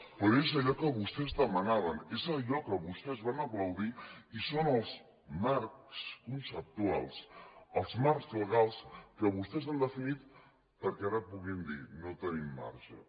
però és allò que vostès demanaven és allò que vostès van aplaudir i són els marcs conceptuals els marcs legals que vostès han definit perquè ara puguin dir no tenim marge